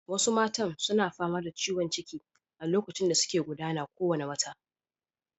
Wasu matan suna fama da ciwon ciki a lokacin da suke gudana kowane wata.